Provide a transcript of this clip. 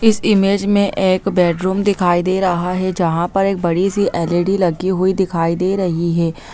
इस इमेज में एक बैडरूम दिखाई दे रहा है जहा पर एक बड़ी सी एल_ई_डी लगी हुई दिखाई दे रही है।